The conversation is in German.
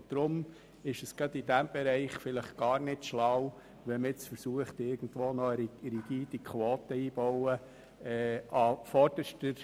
Deshalb ist es gerade in diesem Bereich vielleicht gar nicht schlau, wenn man irgendwo eine rigide Quote einzubauen versucht.